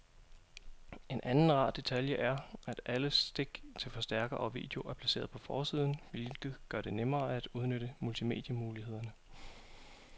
En anden rar detalje er, at alle stik til forstærker og video er placeret på forsiden, hvilket gør det nemmere at udnytte multimedie-mulighederne.